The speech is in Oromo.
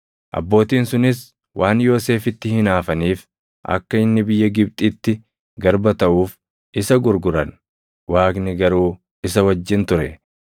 “Abbootiin sunis waan Yoosefitti hinaafaniif akka inni biyya Gibxitti garba taʼuuf isa gurguran; Waaqni garuu isa wajjin ture;